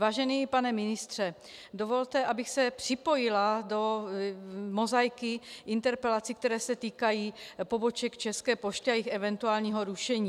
Vážený pane ministře, dovolte, abych se připojila do mozaiky interpelací, které se týkají poboček České pošty a jejich eventuálního rušení.